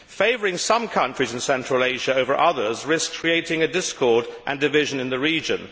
Favouring some countries in Central Asia over others risks creating a discord and division in the region.